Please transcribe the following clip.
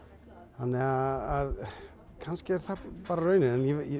þannig að kannski er það bara raunin en